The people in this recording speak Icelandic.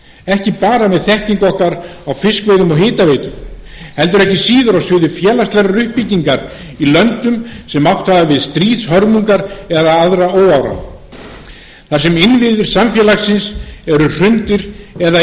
ekki bara með þekkingu okkar á fiskveiðum og hitaveitu heldur ekki síður á sviði félagslegrar uppbyggingar í löndum sem átt hafa við stríðshörmungar eða aðra óáran að stríða þar sem innviðir samfélagsins eru hrundir eða